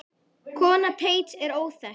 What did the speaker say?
Kona Teits er óþekkt.